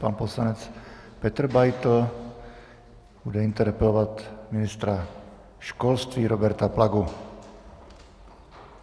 Pan poslanec Petr Beitl bude interpelovat ministra školství Roberta Plagu.